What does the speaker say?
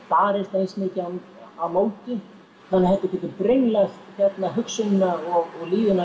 barist eins mikið á móti þetta getur brenglað hugsunina og líðanina